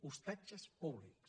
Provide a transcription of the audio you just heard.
ostatges públics